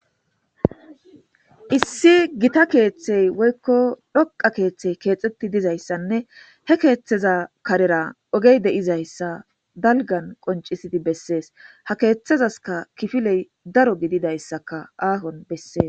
Issi gitta keththe woykko dhoqqa keththe keththetidayisane he keththeza karera ogey de'izayssa dalggan qoncisidi besses ha keththezasika kifile daro gididayisaka ahon besses.